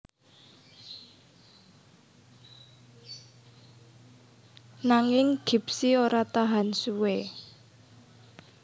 Nanging Gipsy ora tahan suwé